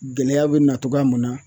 Gɛlɛya be na togoya mun na